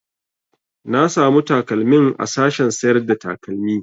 Na samu takalmin a sashen sayar da takalmi